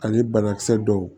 Ani banakisɛ dɔw